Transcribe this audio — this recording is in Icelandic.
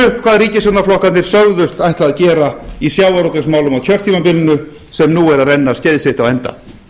landsins rifjum upp hvað ríkisstjórnarflokkarnir sögðust ætla að gera í sjávarútvegsmálum á kjörtímabilinu sem nú er að renna skeið sitt á enda